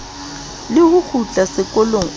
le ho kgutla sekolong o